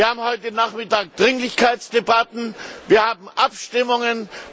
Wir haben heute Nachmittag Dringlichkeitsdebatten, wir haben Abstimmungen.